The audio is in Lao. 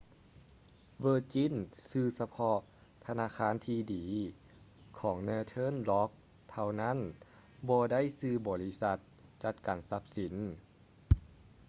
virgin ຊື້ສະເພາະ ທະນາຄານທີ່ດີ ຂອງ northern rock ເທົ່ານັ້ນ ບໍ່ໄດ້ຊື້ບໍລິສັດຈັດການຊັບສິນ